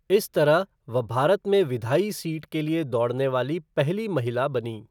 इस तरह वह भारत में विधायी सीट के लिए दौड़ने वाली पहली महिला बनीं।